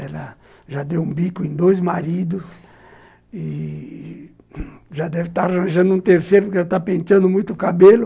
Ela já deu um bico em dois maridos e já deve estar arranjando um terceiro porque ela está penteando muito o cabelo.